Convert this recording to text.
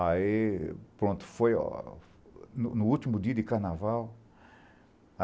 Aí, pronto, foi no último dia de carnaval.